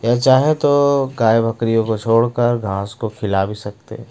यह चाहे तो गाय बकरियों को छोड़कर घास को खीला भी सकते--